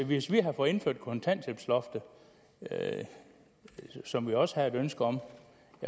hvis vi havde fået indført kontanthjælpsloftet som vi også havde et ønske om